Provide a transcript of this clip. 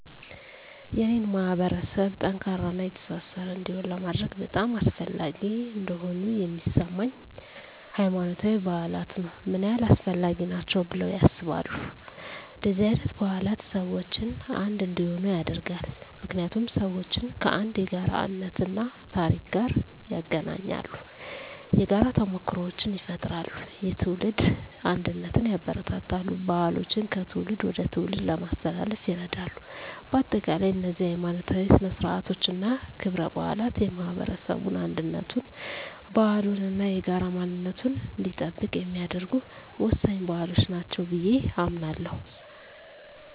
የኔን ማህበረሰብ ጠንካራና የተሳሰረ እንዲሆን ለማድረግ በጣም አስፈላጊ እንደሆኑ የሚሰማኝ፦ ** ሃይማኖታዊ በዓላት ነው **ምን ያህል አስፈላጊ ናቸው ብለው ያስባሉ? እንደነዚህ አይነት በዓላት ሰዎችን አንድ እንዲሆኑ ያደርጋሉ። ምክንያቱም ሰዎችን ከአንድ የጋራ እምነት እና ታሪክ ጋር ያገናኛሉ። የጋራ ተሞክሮዎችን ይፈጥራሉ፣ የትውልድ አንድነትን ያበረታታሉ፣ ባህሎችን ከትውልድ ወደ ትውልድ ለማስተላለፍ ይረዳሉ። በአጠቃላይ፣ እነዚህ ሀይማኖታዊ ሥነ ሥርዓቶች እና ክብረ በዓላት የማህበረሰቡን አንድነቱን፣ ባህሉን እና የጋራ ማንነቱን እንዲጠብቅ የሚያደርጉ ወሳኝ ባህሎች ናቸው ብየ አምናለሁ።